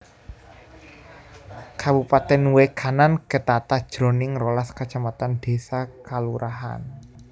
Kabupatèn Way Kanan ketata jroning rolas kacamatan désa/kalurahan